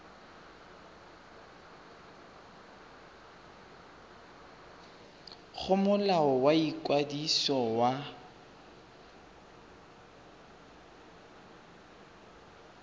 go molao wa ikwadiso wa